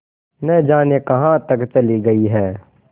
न जाने कहाँ तक चली गई हैं